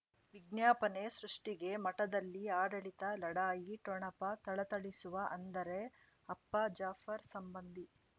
ವಿಜ್ಞಾಪನೆ ಸೃಷ್ಟಿಗೆ ಮಠದಲ್ಲಿ ಆಡಳಿತ ಲಢಾಯಿ ಠೊಣಪ ಥಳಥಳಿಸುವ ಅಂದರೆ ಅಪ್ಪ ಜಾಫರ್ ಸಂಬಂಧಿ